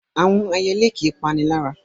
Àwọn ẹyelé kì í panilára.